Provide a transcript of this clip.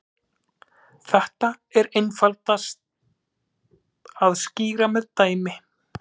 Þetta er einfaldast að skýra með dæmi.